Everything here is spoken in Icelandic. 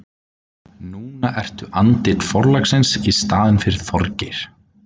Núna ertu andlit forlagsins í staðinn fyrir Þorgeir.